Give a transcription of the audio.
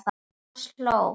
Thomas hló.